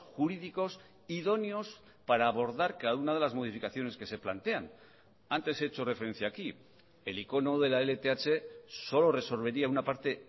jurídicos idóneos para abordar cada una de las modificaciones que se plantean antes he hecho referencia aquí el icono de la lth solo resolvería una parte